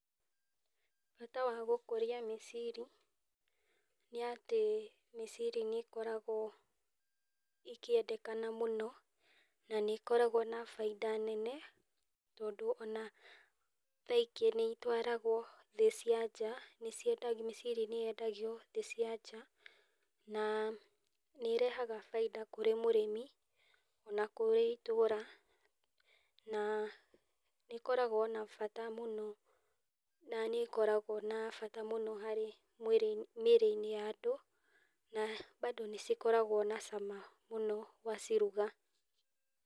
Bata wa gũkũria mĩciri, nĩ atĩ mĩciri nĩ ĩkoragwo ĩkĩendekana mũno, na nĩ ĩkoragwo na baida nene tondũ ona thaa ingĩ nĩ itwaragwo thĩ cia nja , nĩ ci mĩciri nĩ yendagio thĩ cia nja , na nĩ irehaga baida kũrĩ mũrĩmi, ona kũrĩ itũra na nĩ ikoragwo ina bata mũno, na nĩ ĩkoragwo na bata mũno harĩ mwĩrĩ ,mĩrĩ-inĩ ya andũ na bado nĩcikoragwo na cama mũno waciruga.